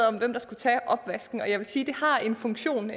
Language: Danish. om hvem der skulle tage opvasken og jeg vil sige at det har en funktion